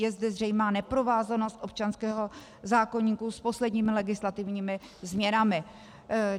Je zde zřejmá neprovázanost občanského zákoníku s posledními legislativními změnami.